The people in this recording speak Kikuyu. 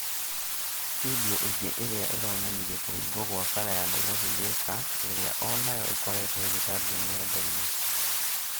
findio ĩngĩ irĩa ironanirie kũhingwo gwa barabara ya Nairofi- Thĩka ĩrĩa onayo ĩkoretwo ĩgĩtambio nge'nda-inĩ